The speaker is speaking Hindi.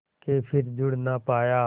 के फिर जुड़ ना पाया